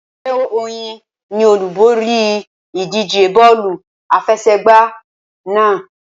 Ẹgbẹ́ Oyin ni olúborí ìdíje bọ́ọ̀lù àfẹsẹ̀gbá náà.